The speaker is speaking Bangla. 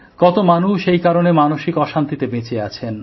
কত মানুষ এই কারণে মানসিক অশান্তিতে বেঁচে আছেন